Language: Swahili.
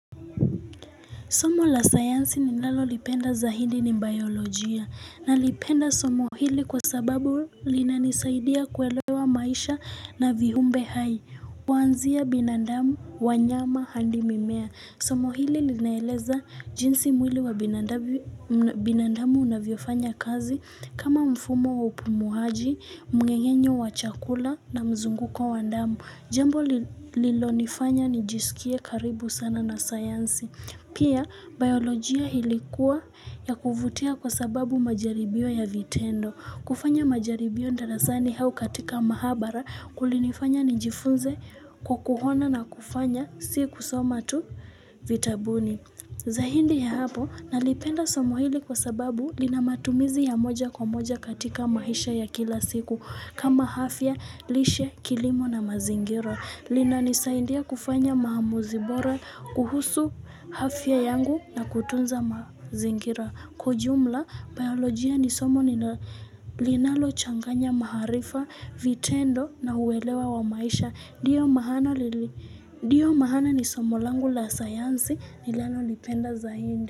Somo la sayansi ninalo lipenda zaidi ni baiolojia nalipenda somo hili kwa sababu linanisaidia kuelewa maisha na viumbe hai. Kuanzia binandamu, wanyama handi mimea. Somo hili linaeleza jinsi mwili wa binadamu unavyofanya kazi kama mfumo wa upumuaji, mmeng'enyo wa chakula na mzunguko wa damu. Jambo lilo nifanya nijisikie karibu sana na sayansi. Pia, baiolojia ilikuwa ya kuvutia kwa sababu majaribio ya vitendo. Kufanya majaribio darasani au katika maabara kulinifanya nijifunze kwa kuona na kufanya si kusoma tu vitabuni. Zaidi ya hapo nalipenda somo hili kwa sababu lina matumizi ya moja kwa moja katika maisha ya kila siku kama afya, lishe, kilimo na mazingira. Linanisaindia kufanya maamuzi bora kuhusu afya yangu na kutunza mazingira. Kwa ujumla, baiolojia ni somo linalochanganya maarifa, vitendo na uelewa wa maisha. Ndio maana ni somo langu la sayansi ninalo lipenda zaidi.